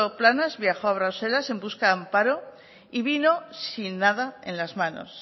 planas viajó a bruselas en busca de amparo y vino sin nada en las manos